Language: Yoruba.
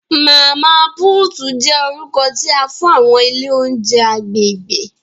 Mama Puutu jẹ orukọ ti a fun awọn ile ounjẹ agbegbe.